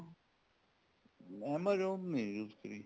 amazon ਨੀ use ਕਰੀ